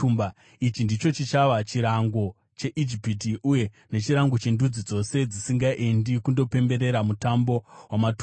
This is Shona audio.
Ichi ndicho chichava chirango cheIjipiti uye nechirango chendudzi dzose dzisingaendi kundopemberera Mutambo waMatumba.